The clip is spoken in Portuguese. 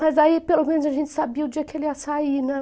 Mas aí pelo menos a gente sabia o dia que ela ia sair, né.